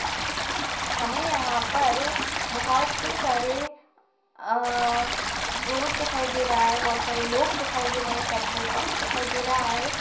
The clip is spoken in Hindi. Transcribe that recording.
हमे यहाँ पर बहुत सारे अं रोड दिखाई दे रहा है बहुत सारे लोग दिखाई दे रहे है पेट्रोल पम्प दिखाई दे रहा है।